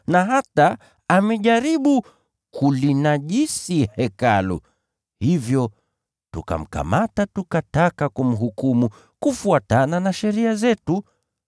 na hata amejaribu kulinajisi Hekalu, hivyo tukamkamata; [tukataka kumhukumu kufuatana na sheria zetu.